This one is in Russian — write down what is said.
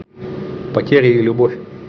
потеря и любовь